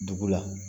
Dugu la